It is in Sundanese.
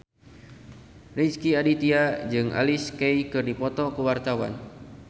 Rezky Aditya jeung Alicia Keys keur dipoto ku wartawan